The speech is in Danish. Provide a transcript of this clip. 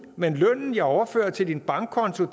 men lønnen jeg overfører til din bankkonto